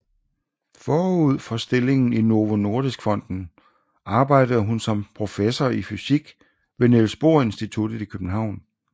Forud for stillingen i Novo Nordisk Fonden arbejdede hun som professor i fysik ved Niels Bohr Institutet i København